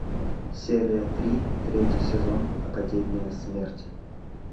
серия три третий сезон академия смерти